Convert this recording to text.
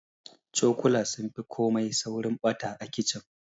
Cokula sun fi komai saurin ɓata a kicin.